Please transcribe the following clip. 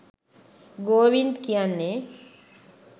ගෝවින්ද් කියන්නේ